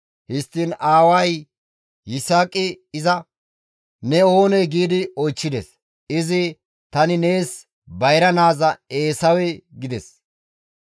Histtiin aaway Yisaaqi iza, «Ne oonee?» gi oychchides. Izi, «Tani nees bayra naaza Eesawe» gides.